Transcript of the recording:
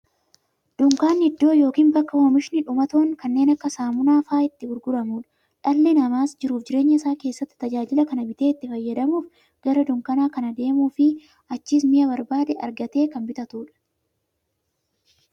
Dunkaanni iddoo yookiin bakka oomishni dhumatoon kanneen akka saamunaa faa'a itti gurguramuudha. Dhalli namaas jiruuf jireenya isaa keessatti, tajaajila kana bitee itti fayyadamuuf, gara dunkaanaa kan deemuufi achiis mi'a barbaade argatee kan bitatuudha.